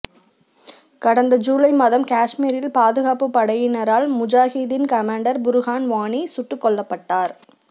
கடந்த ஜீலை மாதம் காஷ்மீரில் பாதுகாப்பு படையினரால் முஜாகிதீன் கமாண்டர் புர்ஹான் வாணி சுட்டுக் கொல்லப்பட்டார்